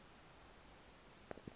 kwadwesi